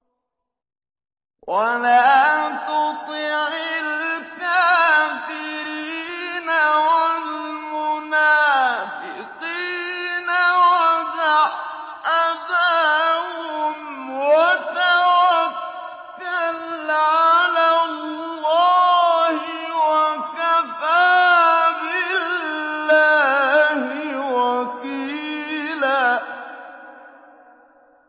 وَلَا تُطِعِ الْكَافِرِينَ وَالْمُنَافِقِينَ وَدَعْ أَذَاهُمْ وَتَوَكَّلْ عَلَى اللَّهِ ۚ وَكَفَىٰ بِاللَّهِ وَكِيلًا